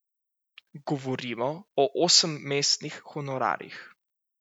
Govorimo o osemmestnih honorarjih.